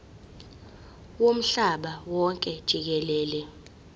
womhlaba wonke jikelele